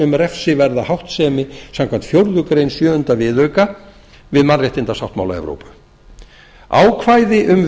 um refsiverða háttsemi sama fjórðu grein sjöunda viðauka við mannréttindasáttmála evrópu ákvæði um viðurlög